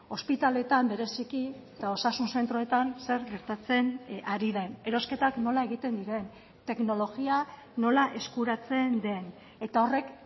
ospitaletan bereziki eta osasun zentroetan zer gertatzen ari den erosketak nola egiten diren teknologia nola eskuratzen den eta horrek